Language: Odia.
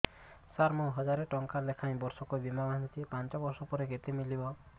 ସାର ମୁଁ ହଜାରେ ଟଂକା ଲେଖାଏଁ ବର୍ଷକୁ ବୀମା ବାଂଧୁଛି ପାଞ୍ଚ ବର୍ଷ ପରେ କେତେ ମିଳିବ